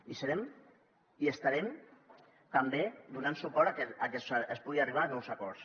hi serem i estarem també donant suport perquè es pugui arribar a nous acords